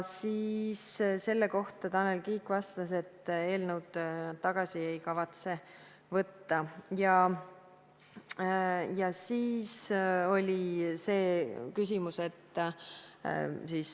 Selle kohta Tanel Kiik vastas, et eelnõu tagasi ei kavatseta võtta.